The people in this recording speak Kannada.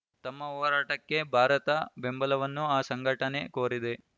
ತಮ್ಮ ಹೋರಾಟಕ್ಕೆ ಭಾರತ ಬೆಂಬಲವನ್ನು ಆ ಸಂಘಟನೆ ಕೋರಿದೆ